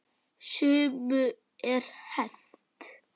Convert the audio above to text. Sumu er hent.